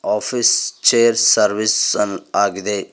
Office chairs service on ಆಗಿದೆ.